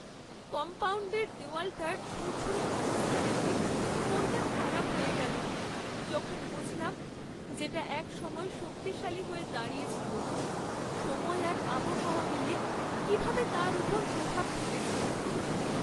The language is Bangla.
কম্পাউণ্ডের দেওয়ালটার ঝুরঝুরে অবস্থা দেখে মনটা খারাপ হয়ে গেল যখন বুঝলাম যেটা এক সময় শক্তিশালী হয়ে দাঁড়িয়ে ছিল; সময় আর আবহাওয়া মিলে কীভাবে তার ওপর প্রভাব ফেলেছে!